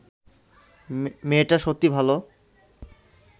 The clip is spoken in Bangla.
মেয়েটা সত্যি ভাল